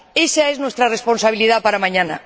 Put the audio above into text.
Ésa es nuestra responsabilidad para mañana.